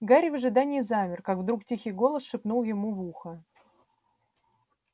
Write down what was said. гарри в ожидании замер как вдруг тихий голос шепнул ему в ухо